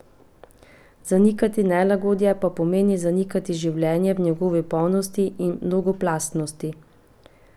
Zanikati nelagodje pa pomeni zanikati življenje v njegovi polnosti in mnogoplastnosti.